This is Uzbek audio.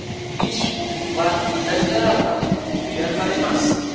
Ish va natijalar bilan, piar bilan emas.